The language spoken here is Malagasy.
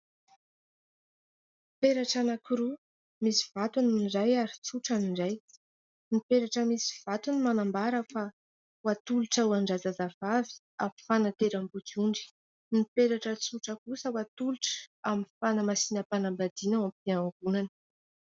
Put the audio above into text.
Peratra anankiroa misy vatony ny iray ary tsotra ny iray, ny peratra misy vatony manambara fa hatolotra ho an-drazazavavy amin'ny fanateram-bodiondry. Ny peratra tsotra kosa hatolotra amin'ny fanamasinam-panambadiana ao am-piangonana.